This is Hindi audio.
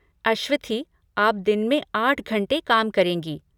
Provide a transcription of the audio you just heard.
अश्वथी, आप दिन में आठ घंटे काम करेंगी।